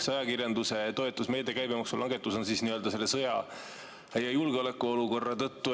See ajakirjanduse toetamise meede, käibemaksulangetus, on nii‑öelda sõja ja julgeolekuolukorra tõttu.